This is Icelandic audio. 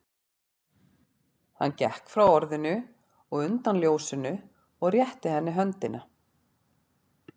Hann gekk frá orðinu og undan ljósinu og rétti henni höndina.